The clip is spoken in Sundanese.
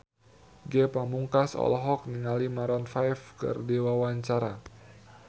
Ge Pamungkas olohok ningali Maroon 5 keur diwawancara